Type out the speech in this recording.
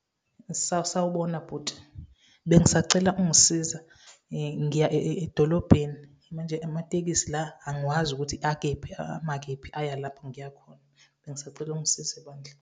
Sawubona bhuti, bengisacela ungisiza. Ngiya edolobheni, manje amatekisi la, angiwazi ukuthi akephi, ama kephi, aya lapha ngiya khona. Bengisacela ungisize bandla.